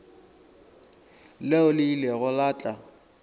leo le ilego la tla